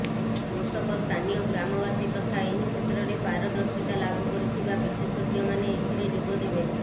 କୃଷକ ସ୍ଥାନୀୟ ଗ୍ରାମବାସୀ ତଥା ଏହି କ୍ଷେତ୍ରରେ ପାରଦର୍ଶିତା ଲାଭ କରିଥିବା ବିଶେଷଜ୍ଞମାନେ ଏଥିରେ ଯୋଗ ଦେବେ